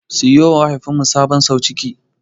Siyowa mahaifinmu sabon sauciki.